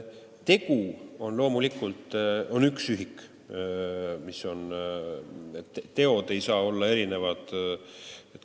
Tegu on loomulikult üks ühik, teod ei saa olla erinevalt kaalutud.